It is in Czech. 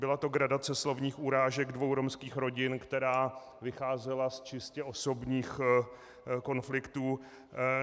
Byla to gradace slovních urážek dvou romských rodin, která vycházela z čistě osobních konfliktů.